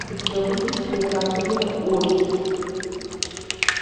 у тебя будет кинокартина окись